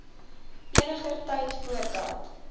eniger tyd voordat